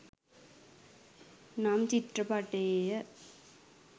නම්‍ ‍චිත්‍ර‍ප‍ටි‍යේ‍ය.